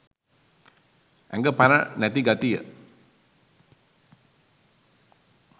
ඇඟ පණ නැති ගතිය